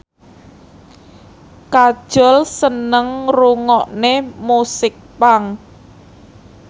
Kajol seneng ngrungokne musik punk